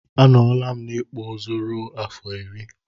Anọlam n'ikpụ ụzụ rue afọ iri.